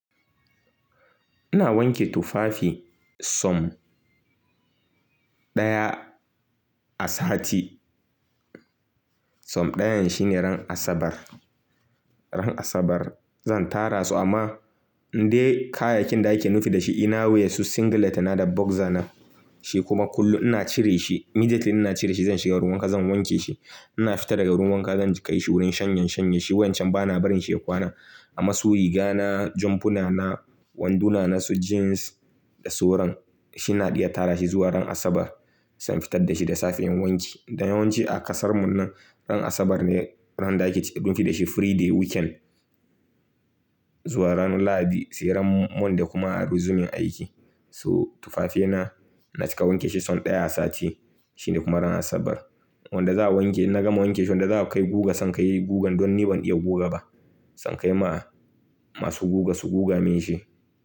Ina wanke tufafi sau daya a sati. Sau ɗayan shine ran Asabar. Ran Asabar zan tara su amma indai kayayyakin da ake nufi da shi inner wears su singlet ɗina da boxer na shi kuma kullum ina cire shi. Immediately ina cire shi zan shiga wurin wanka zan wanke shi. Ina fita daga wurin wanka zan kai shi wurin shanye-shanye shi wancan bana barin shi ya kwana. Amma su riga na, jampuna na, wanduna na su jeans da sauran shi na iya tara shi zuwa ran Asabar zan fitar da shi da safiyar wanki. Da yawanci a kasar mu nan ran Asabar ne ran da ake ciki nufi da shi free day weekend zuwa ran Lahadi sai ran Monday da kuma a resume aiki. So tufafina na cika wanke shi sau ɗaya a sati shine kuma ran Asabar. Wanda za a wanke in na gama wanke shi wanda za a kai guga zan kai gugan don ni ban iya guga ba. Zan kai ma masu guga su guga minshi.